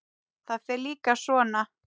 Það fer líka svo.